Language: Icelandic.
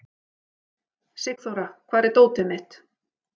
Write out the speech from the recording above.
Sigþóra, hvar er dótið mitt?